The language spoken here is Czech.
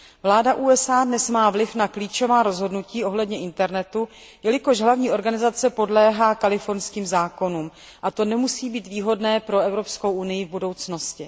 Vláda USA má dnes vliv na klíčová rozhodnutí ohledně internetu, jelikož hlavní organizace podléhá kalifornským zákonům, a to nemusí být výhodné pro Evropskou unii v budoucnosti.